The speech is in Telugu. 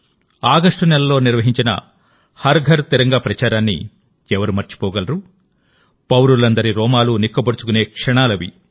ఆగస్టు నెలలో నిర్వహించిన హర్ ఘర్ తిరంగా ప్రచారాన్ని ఎవరు మర్చిపోగలరు ప్రతి దేశస్థుది రోమాలు నిక్కబొడుచుకునే క్షణాలవి